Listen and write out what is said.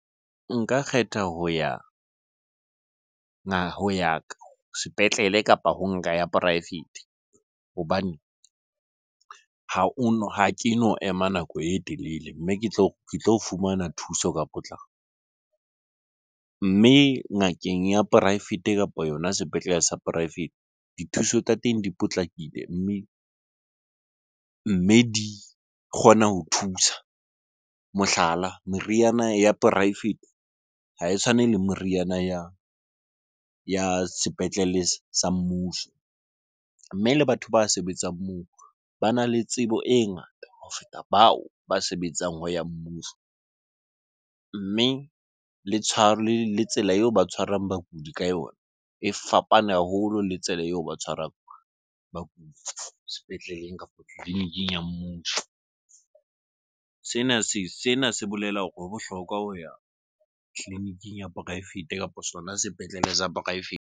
Nka kgetha ho ya ya ka sepetlele kapa ho nka ya poraefete. Hobane ha ono, ha keno ema nako e telele mme ke tlo fumana thuso ka potlako. Mme ngakeng ya poraefete kapo yona sepetlele sa poraefete, dithuso tsa teng di potlakile mme di kgona ho thusa. Mohlala, meriana ya poraefete ha e tshwane le moriana ya sepetlele sa mmuso. Mme le batho ba sebetsang moo bana le tsebo e ngata ho feta bao ba sebetsang ho ya mmuso. Mme le le tsela eo ba tshwarang bakudi ka yona e fapane haholo le tsela eo ba tshwarang bakudi sepetleleng kapo tleliniking ya mmuso. Sena se bolela hore ho bohlokwa ho ya tleliniking ya poraefete kapa sona sepetlele sa poraefete.